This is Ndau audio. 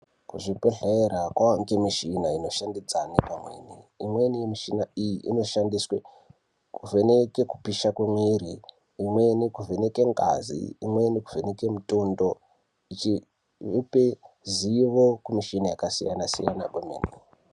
Kuzvibhedhlera kovanikwe michina inoshandidzane pamweni yemichina iyi inoshandiswe kuvheneke kupisa kwemwiri, imweni kuvheneke ngazi, imweni kuvheneke mutundo ichipe zivo kumichina yakasiyana kwemene.